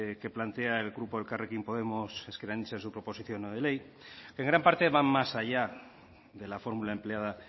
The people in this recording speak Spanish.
que plantea el grupo elkarrekin podemos ezker anitza en su proposición no de ley que en gran parte van más allá de la fórmula empleada